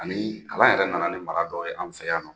Ani kalan yɛrɛ nana ni mara dɔ ye an fɛ yannɔ.